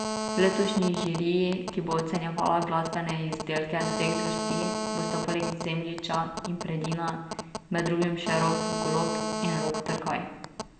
V letošnji žiriji, ki bo ocenjevala glasbene izdelke vseh zvrsti, bosta poleg Zemljiča in Predina med drugim še Rok Golob in Rok Trkaj.